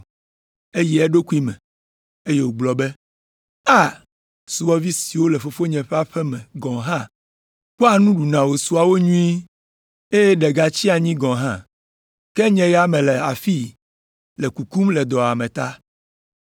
“Eyi eɖokui me, eye wògblɔ be, ‘A, subɔvi siwo le fofonye ƒe aƒe me gɔ̃ hã kpɔa nu ɖuna wòsua wo nyuie, eye ɖe gatsia anyi gɔ̃ hã. Ke nye ya mele afii le kukum le dɔwuame ta!